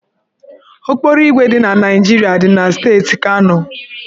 Okporoígwè dị na Naịjirịa dị na steeti Kano.